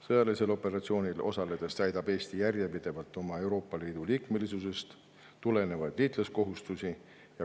Sõjalisel operatsioonil osaledes täidab Eesti järjepidevalt oma Euroopa Liidu liikmesusest tulenevaid liitlaskohustusi.